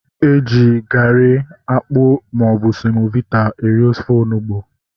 Eji garị, akpụ maọbụ semovita eri ofe onugbu